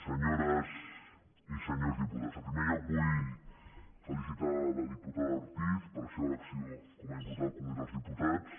senyores i senyors diputats en primer lloc vull felicitar la diputada ortiz per la seva elecció com a diputada al congrés dels diputats